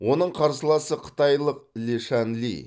оның қарсыласы қытайлық лешан ли